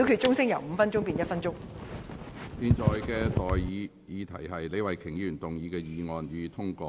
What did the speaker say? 我現在向各位提出的待議議題是：李慧琼議員動議的議案，予以通過。